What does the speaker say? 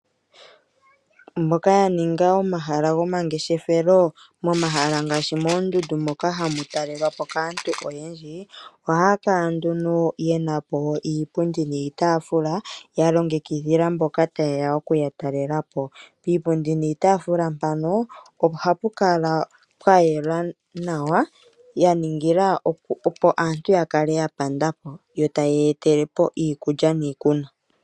Mboka ya ninga omahala gomangeshefelo momahala ngaashi moondundu moka hamu talelwapo kaantu oyendji, ohaya kala nduno yena po iipundi niitafuula ya longekidhila mboka tayeya okuya talelapo. Piipundi niitafuula mpano ohapu kala pwa yela nawa ya ningila opo aantu ya kale ya pandapo, yo tayeya etelepo iikulya niikunwa.